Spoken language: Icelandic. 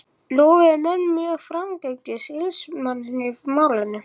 Lofuðu menn mjög framgöngu sýslumanns í málinu.